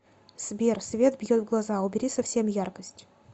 сбер свет бьет в глаза убери совсем яркость